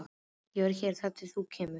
Ég verð hér þar til þú kemur.